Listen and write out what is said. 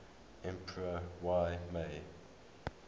emperor y mei